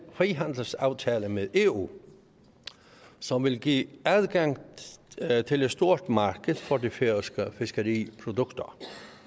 frihandelsaftale med eu som vil give adgang til et stort marked for de færøske fiskeriprodukter